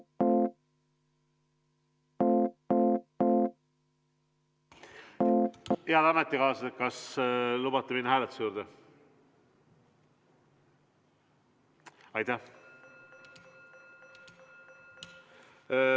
Head ametikaaslased, kas lubate minna hääletuse juurde?